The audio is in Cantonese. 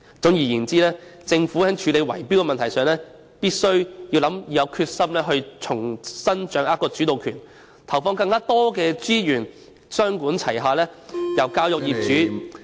總而言之，政府在處理圍標的問題上，必須有決心重新掌握主導權，投放更多資源，雙管齊下，從教育業主......